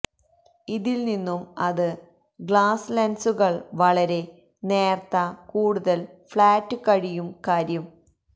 ഇതിൽനിന്നും അത് ഗ്ലാസ് ലെൻസുകൾ വളരെ നേർത്ത കൂടുതൽ ഫ്ലാറ്റ് കഴിയും കാര്യം